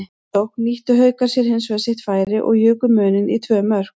Í næstu sókn nýttu Haukar sér hinsvegar sitt færi og juku muninn í tvö mörk.